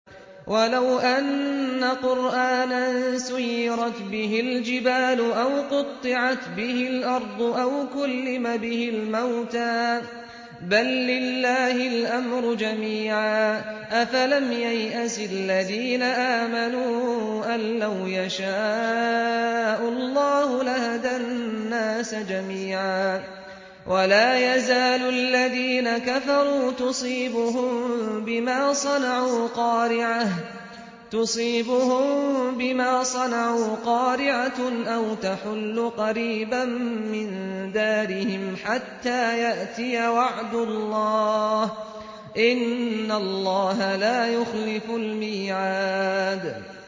وَلَوْ أَنَّ قُرْآنًا سُيِّرَتْ بِهِ الْجِبَالُ أَوْ قُطِّعَتْ بِهِ الْأَرْضُ أَوْ كُلِّمَ بِهِ الْمَوْتَىٰ ۗ بَل لِّلَّهِ الْأَمْرُ جَمِيعًا ۗ أَفَلَمْ يَيْأَسِ الَّذِينَ آمَنُوا أَن لَّوْ يَشَاءُ اللَّهُ لَهَدَى النَّاسَ جَمِيعًا ۗ وَلَا يَزَالُ الَّذِينَ كَفَرُوا تُصِيبُهُم بِمَا صَنَعُوا قَارِعَةٌ أَوْ تَحُلُّ قَرِيبًا مِّن دَارِهِمْ حَتَّىٰ يَأْتِيَ وَعْدُ اللَّهِ ۚ إِنَّ اللَّهَ لَا يُخْلِفُ الْمِيعَادَ